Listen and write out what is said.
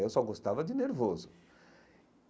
Eu só gostava de nervoso.